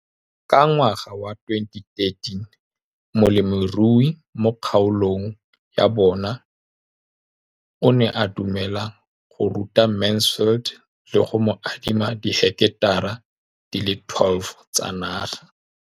Ka ngwaga wa 2013, molemirui mo kgaolong ya bona o ne a dumela go ruta Mansfield le go mo adima di heketara di le 12 tsa naga.